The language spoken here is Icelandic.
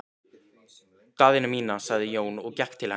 Daðína mín, sagði Jón og gekk til hennar.